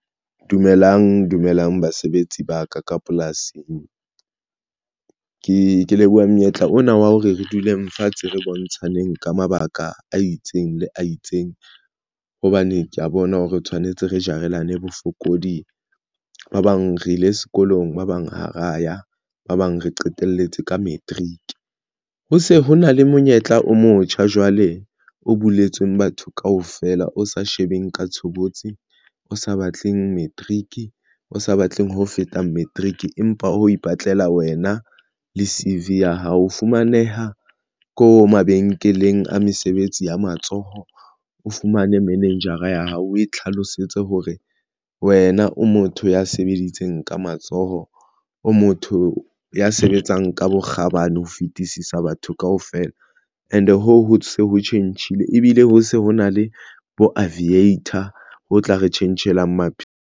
Dumelang dumelang basebetsi ba ka ka polasing. Ke leboha monyetla ona wa hore re dule fatshe re bontshaneng ka mabaka a itseng le a itseng, hobane ke ya bona hore re tshwanetse re jarelane bofokodi ba bang re ile sekolong ba bang hara ya ba bang re qeteletse ka matric ho se ho na le monyetla o motjha jwale o buletsweng batho kaofela, o sa shebeng ka tshobotsi, o sa batleng matric o sa batleng ho feta matric. Empa o ipatlela wena le C_V ya hao o fumaneha ko mabenkeleng a mesebetsi ya matsoho. O fumane manejara ya hao, o e tlhalosetse hore wena o motho ya sebeditseng ka matsoho, o motho ya sebetsang ka bokgabane ho fetisisa batho kaofela and hoo, ho se ho tjhentjhile ebile ho se ho na le bo aviator ho tla re tjhentjhelang maphelo.